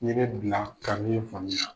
bila ka faamu na.